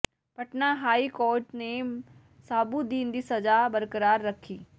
Patna high court ਨੇ ਸ਼ਹਾਬੂਦੀਨ ਦੀ ਸਜ਼ਾ ਬਰਕਰਾਰ ਰੱਖੀ